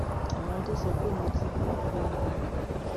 àwọn tó sọ pé mo ti kú irọ ni wọn ń pa